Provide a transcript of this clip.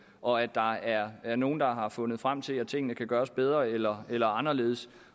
og at der er er nogle der har fundet frem til at tingene kan gøres bedre eller eller anderledes